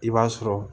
I b'a sɔrɔ